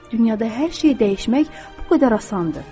Dünyada hər şey dəyişmək bu qədər asandır.